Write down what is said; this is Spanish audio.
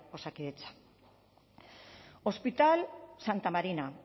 osakidetza hospital santa marina